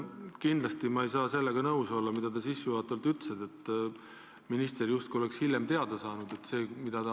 Kindlasti ma ei saa nõus olla sellega, mis te sissejuhatavalt ütlesite: et minister sai justkui hiljem asjast teada.